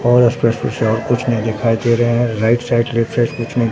और स्पष्ट रूप से और कुछ नही दिखाई दे रहे हैं राइट साइड लेफ्ट साइड कुछ नहीं --